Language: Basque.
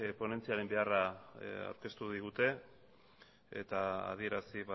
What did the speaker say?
ponentziaren beharra aurkeztu digute eta adierazi